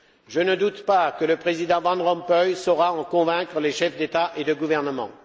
Je ne doute pas que le président van Rompuy saura en convaincre les chefs d'État et de gouvernement.